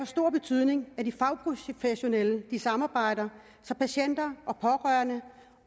stor betydning at de fagprofessionelle samarbejder så patienter og pårørende